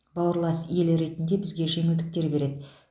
бауырлас ел ретінде бізге жеңілдіктер береді